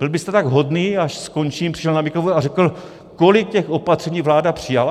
Byl byste tak hodný, až skončím, přišel na mikrofon a řekl, kolik těch opatření vláda přijala?